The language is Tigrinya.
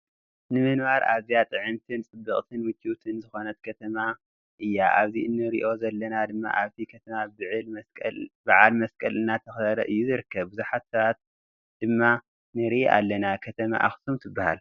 ንምንባር ኣዝያ ጥዕምቲን ፅብቅቲን ምችውትን ዝኮነት ከተማ እያ ኣብዚ እንርእዮ ዘለና ድማ ኣብቲ ከተማ ብዓል መስቀል እናተከበረ እዩ ዝርከብ ብዙሓት ሰባት ድማ ንርኢ ኣለና። ከተማ ኣክሱም ትብሃል።